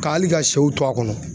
Ka hali ka sɛw to a kɔnɔ.